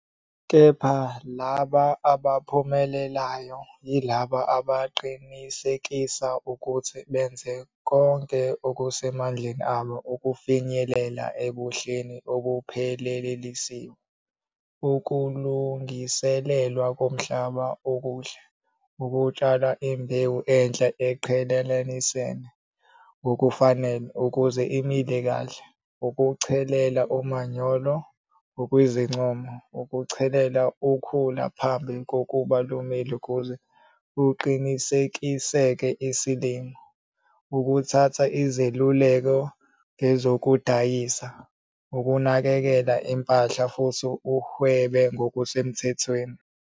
Kepha laba abaphumelelayo yilabo abaqinisekisa ukuthi benza konke okusemandleni abo ukufinyelela ebuhleni obuphelelisiwe - ukulungiselelwa komhlaba okuhle, ukutshala imbewu enhle uyiqhelelanise ngokufanele ukuze imile kahle, ukuchelela umanyolo ngokwezincomo, ukuchelela ukhula phambi kokuba lumile kuze kuqinisekiseke isilimo, ukuthatha izeluleko ngezokudayisa, ukunakekela impahla futhi uhwebe ngokusemthethweni.